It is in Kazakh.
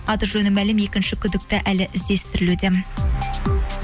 аты жөні мәлім екінші күдікті әлі іздестірілуде